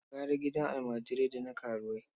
Gara gidan almajirai da na karuwai.